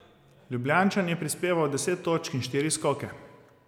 Ljubljančan je prispeval deset točk in štiri skoke.